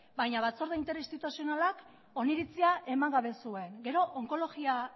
baina batzorde interinstituzionalak oniritzia eman gabe zuen gero onkologia